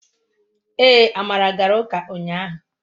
Ee, amara gara uka unyahu